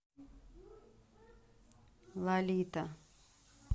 лолита